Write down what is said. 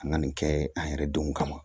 An ka nin kɛ an yɛrɛ denw kama